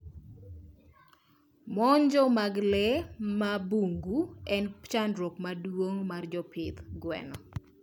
Monjo mag lee mmabungu en chandruok maduong mar jopidh gwen